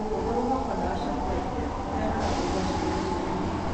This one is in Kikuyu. Gũkorwo ho kwa ndawa kũrehaga ũgwati kũrĩ rũrĩrĩ.